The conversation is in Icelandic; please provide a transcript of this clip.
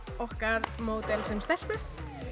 okkar módel stelpu